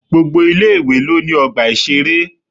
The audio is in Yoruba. Gbogbo ilé-ìwé lo ní ọgbà ìṣeré.